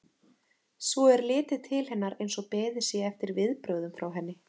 Svo er litið til hennar eins og beðið sé eftir viðbrögðum frá henni.